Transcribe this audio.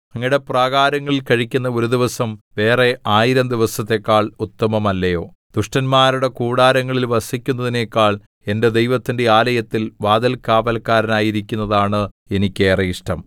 അങ്ങയുടെ പ്രാകാരങ്ങളിൽ കഴിക്കുന്ന ഒരു ദിവസം വേറെ ആയിരം ദിവസത്തേക്കാൾ ഉത്തമമല്ലയോ ദുഷ്ടന്മാരുടെ കൂടാരങ്ങളിൽ വസിക്കുന്നതിനെക്കാൾ എന്റെ ദൈവത്തിന്റെ ആലയത്തിൽ വാതിൽ കാവല്ക്കാരനായിരിക്കുന്നതാണ് എനിക്ക് ഏറെ ഇഷ്ടം